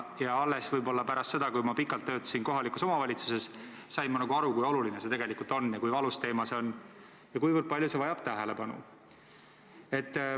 Alles pärast seda, kui olin pikalt töötanud kohalikus omavalitsuses, sain ma aru, kui oluline see tegelikult on, kui valus teema see on ja kuivõrd palju see vajab tähelepanu.